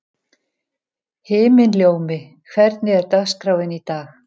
Himinljómi, hvernig er dagskráin í dag?